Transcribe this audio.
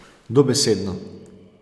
Dobesedno.